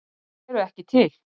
Þær eru ekki til